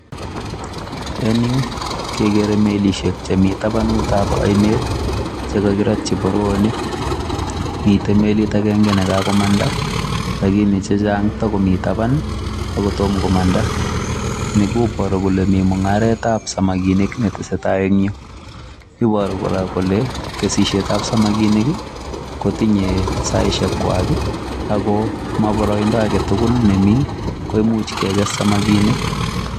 En yu kegeere melisiek chemi tabanutab oinet che kogirotyi boroonik. Miten melit agenge nekagomanda lakini chechang kotakomi taban ago tom komanda. Ni koboru kole mi mung'aretab samakinik ne tesetai en yu, iboru kora kole kesisietab samakinik kotinye saishekwag ago moboroindo age tugulnemi koimuch keges samakinik.